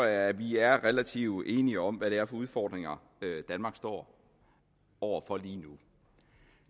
at vi er relativt enige om hvad det er for udfordringer danmark står over for lige nu